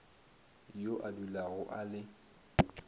yo a dulago a le